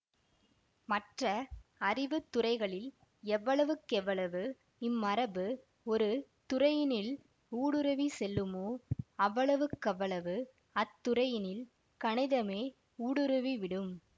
மற்ற அறிவு துறைகளில் எவ்வளவுக் கெவ்வளவு இம்மரபு ஒரு துறையினிள் ஊடுருவி செல்லுமோ அவ்வளவுக் கவ்வளவு அத்துறையினில் கணிதமே ஊடுருவி விடும்